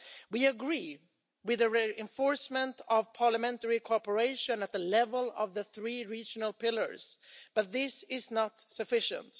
We agree with a reinforcement of parliamentary cooperation at the level of the three regional pillars, but this is not sufficient.